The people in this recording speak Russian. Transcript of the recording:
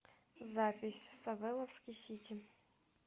запись савеловский сити